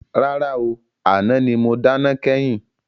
Rárá ooo, àná ni mo dáná kẹ́yìn.